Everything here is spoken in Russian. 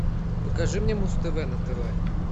покажи мне муз тв на тв